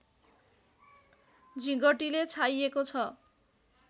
झिँगटीले छाइएको छ